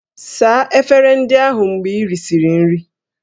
Saa efere ndị ahụ mgbe ị risịrị nri!